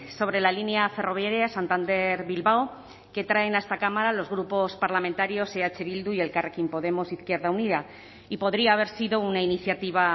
sobre la línea ferroviaria santander bilbao que traen a esta cámara los grupos parlamentarios eh bildu y elkarrekin podemos izquierda unida y podría haber sido una iniciativa